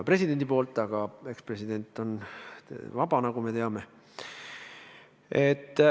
Ent president on vaba, nagu me teame.